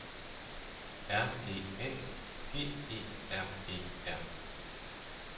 R E A G E R E R